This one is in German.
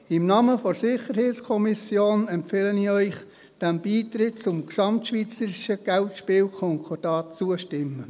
Im Namen der SiK empfehle ich Ihnen, dem Beitritt zum GSK zuzustimmen.